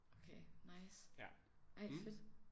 Okay nice ej fedt